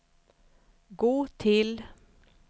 gå till